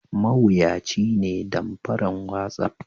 Mawuyaci ne damfaran watsapp.